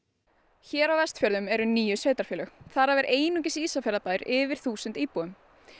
hér á Vestfjörðum eru níu sveitarfélög þar af er einungis Ísafjarðarbær yfir þúsund íbúum